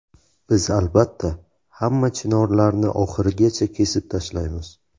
Biz albatta hamma chinorlarni oxirigacha kesib tashlaymiz.